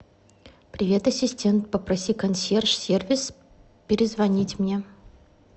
привет ассистент попроси консьерж сервис перезвонить мне